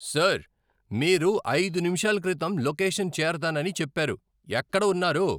Sir, మీరు ఐదు నిముషాల క్రితం లొకేషన్ చేరతానని చెప్పారు. ఎక్కడ ఉన్నారు?